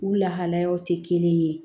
U lahalaw tɛ kelen ye